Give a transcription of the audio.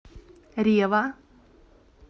рева